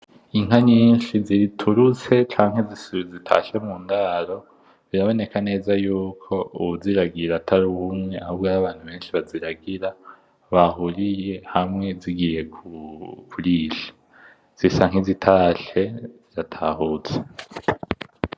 Inka nyinshi ziturutse canke zitashe mundaro, biraboneka neza yuko uwuziragira atari umuntu umwe ahubwo arabantu benshi baziragira bahuriye hamwe zigiye kurisha. zisa nkizitashe, ziratahutse.